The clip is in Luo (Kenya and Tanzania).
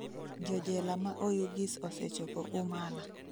Jojela ma Oyugis osechopo Umala